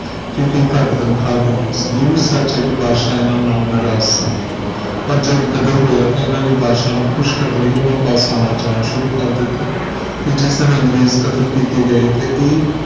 ਕਿਉਕਿ ਘੱਟ ਤਨਖਾਹ ਦਿੰਦੇ ਸੀ ਇਹ ਵੀ ਸੱਚ ਹੈ ਕਿ ਬਾਦਸ਼ਾਹ ਇਨ੍ਹਾਂ ਨਾਲ ਨਾਰਾਜ਼ ਸਨ ਪਰ ਜਦ ਗ਼ਦਰ ਹੋਇਆ ਤਾਂ ਇਨ੍ਹਾਂ ਨੇ ਬਾਦਸ਼ਾਹ ਨੂੰ ਖੁਸ਼ ਕਰਨ ਲਈ ਉਨ੍ਹਾਂ ਪਾਸ ਆਉਣਾ ਜਾਣਾ ਸ਼ੁਰੂ ਕਰ ਦਿੱਤਾ ਤੇ ਜਿਸ ਦਿਨ ਅੰਗਰੇਜ਼ ਕਤਲ ਕਿਤੇ ਗਏ ਤੇ ਇਹ